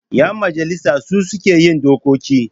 Ƴan majalisa su suke yin dokoki.